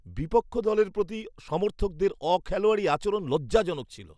বিপক্ষ দলের প্রতি সমর্থকদের অখেলোয়াড়ি আচরণ লজ্জাজনক ছিল।